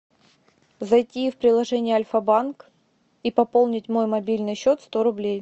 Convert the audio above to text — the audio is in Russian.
зайти в приложение альфа банк и пополнить мой мобильный счет сто рублей